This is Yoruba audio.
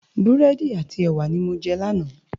Búrèdi áti èwá ni mó jè làná